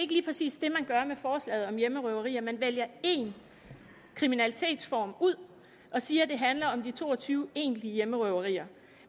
lige præcis det man gør med forslaget om hjemmerøverier man vælger én kriminalitetsform ud og siger at det handler om de to og tyve egentlige hjemmerøverier